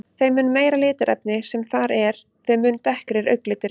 Þeim mun meira litarefni sem þar er, þeim mun dekkri er augnliturinn.